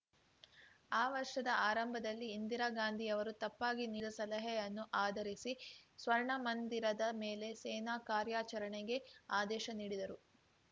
ಆ ವರ್ಷದ ಆರಂಭದಲ್ಲಿ ಇಂದಿರಾ ಗಾಂಧಿಯವರು ತಪ್ಪಾಗಿ ನೀಡಿದ ಸಲಹೆಯನ್ನು ಆಧರಿಸಿ ಸ್ವರ್ಣಮಂದಿರದ ಮೇಲೆ ಸೇನಾ ಕಾರ್ಯಾಚರಣೆಗೆ ಆದೇಶ ನೀಡಿದರು